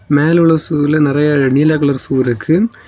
மேல உள்ள ஷூல நெறய நீல கலர் ஷூ இருக்கு.